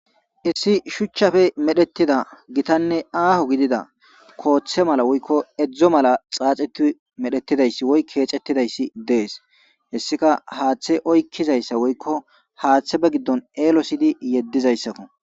issi shuchchafe medhetida gitanne aaho gidida kooththe mala woykko edzdzo mala xaaxiti medhetidayssi woy keecettidayssi dees hessika haaththe oykkizayssa woykko haaththe ba giddon eelo siydi yeddizayssakko